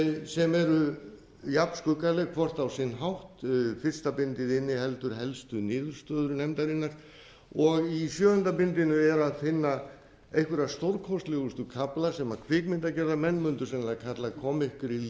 sem eru jafnskuggaleg hvort á sinn hátt frysta bindið inniheldur helstu niðurstöður nefndarinnar og í sjöunda bindinu er að finna einhverja stórkostlegustu kafla sem kvikmyndagerðarmenn mundu sennilega kalla